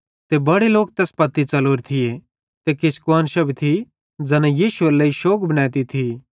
ते बड़े लोक तैस पत्ती च़लोरे थिये ते किछ कुआन्शां भी थी ज़ैना यीशु एरे लेइ शौग बनैती थी